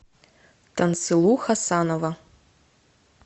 тансылу хасанова